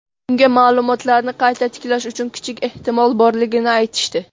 Unga ma’lumotlarni qayta tiklash uchun kichik ehtimol borligini aytishdi.